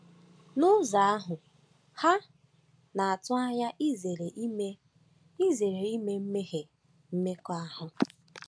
N’ụzọ ahụ, ha na-atụ anya izere ime izere ime mmehie mmekọahụ.